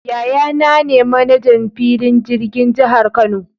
Yaya naa ne 'manajan' filin jirgin jihar Kano.